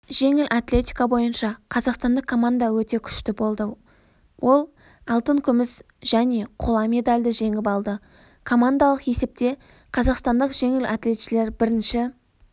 жеңіл атлетика бойынша қазақстандық команда өте күшті болды ол алтын күміс және қола медальді жеңіп алды командалық есепте қазақстандық жеңілатлетшілер бірінші